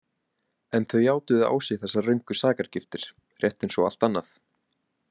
En þau játuðu á sig þessar röngu sakargiftir, rétt eins og allt annað.